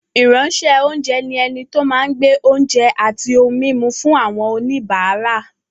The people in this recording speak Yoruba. Ìránṣẹ́-oúnjẹ ni ẹni tó máa ń gbé oúnjẹ àti ohun-mímu fún àwọn oníbàárà.